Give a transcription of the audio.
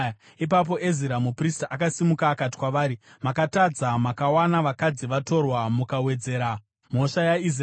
Ipapo Ezira muprista akasimuka akati kwavari, “Makatadza; makawana vakadzi vatorwa, mukawedzera mhosva yaIsraeri.